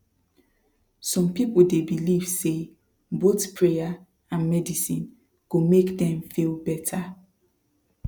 some people dey believe say both prayer and medicine go make dem feel better